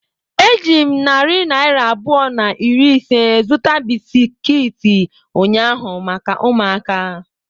Eji m narị naira abụọ na iri ise zụta bisiki ụnyahụ maka ụmụaka.